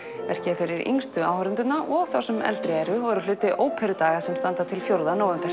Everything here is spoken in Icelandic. verkið er fyrir yngstu áhorfendurna og þá sem eldri eru og er hluti Óperudaga sem standa til fjórða nóvember